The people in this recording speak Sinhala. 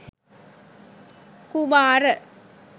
kumara